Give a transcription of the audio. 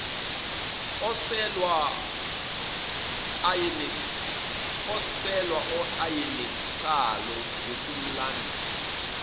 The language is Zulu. oselwa ayenencazelo ngokomlando